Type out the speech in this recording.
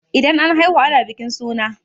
Idan an haihu ana bikin suna